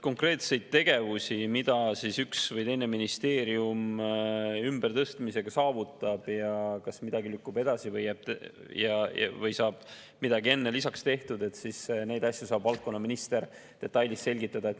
Konkreetseid tegevusi, mida üks või teine ministeerium ümbertõstmisega saavutab ja kas midagi lükkub edasi või saab midagi enne lisaks tehtud, neid asju saab valdkonna minister detailides selgitada.